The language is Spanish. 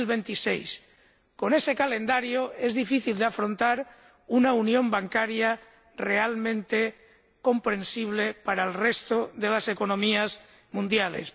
2026. Con ese calendario, es difícil afrontar una unión bancaria realmente comprensible para el resto de las economías mundiales.